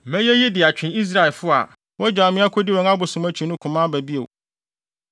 Mɛyɛ eyi de atwe Israelfo a wɔagyaw me akodi wɔn abosom akyi no koma aba bio.’